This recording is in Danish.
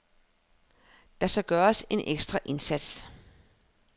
Der skal gøres en ekstra indsats.